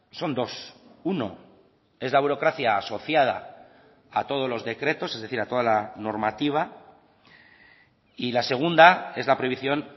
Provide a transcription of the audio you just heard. son dos uno es la burocracia asociada a todos los decretos es decir a toda la normativa y la segunda es la prohibición